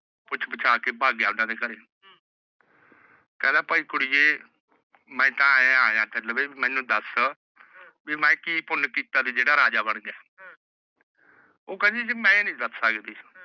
ਪੁੱਛ ਪੁਛਾ ਕੇ ਭਗ ਗਿਆ ਉਹਨਾਂ ਦੇ ਘਰੇ। ਭਾਈ ਕੁੜੀਏ ਮੈ ਤਾਂ ਐ ਆਇਆ। ਤੂੰ ਮੈਨੂੰ ਦੱਸ ਵੀ ਮੈ ਕਿ ਪੁਣ ਕਿੱਤਾ ਜਿਹੜਾ ਰਾਜਾ ਬਣ ਗਿਆ। ਉਹ ਕਹਿੰਦੀ ਸਕਦੀ।